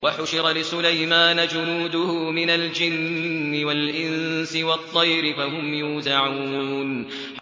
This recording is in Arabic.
وَحُشِرَ لِسُلَيْمَانَ جُنُودُهُ مِنَ الْجِنِّ وَالْإِنسِ وَالطَّيْرِ فَهُمْ يُوزَعُونَ